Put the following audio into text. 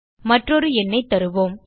மற்றொரு எண்ணைத் தருவோம்